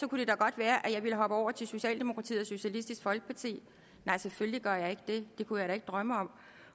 være at jeg bare ville hoppe over til socialdemokratiet og socialistisk folkeparti nej selvfølgelig gør jeg ikke det det kunne jeg da ikke drømme om